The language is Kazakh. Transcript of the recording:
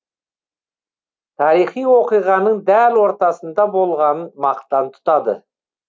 тарихи оқиғаның дәл ортасында болғанын мақтан тұтады